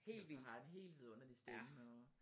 Altså har en helt vidunderlig stemme og